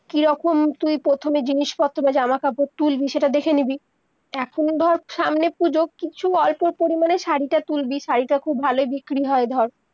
কি রকম তুই প্রথমে জিনিস-পত্র, জামা-কাপড় তুলবি, সেইটা দেখে নিবি, এখন ধর সামনে পুজো কিছু অল্প পরিমানে শাড়িটা তুলবি, শাড়িটা খুব ভালো বিক্রি হয় ধর-